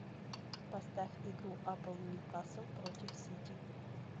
поставь игру апл ньюкасл против сити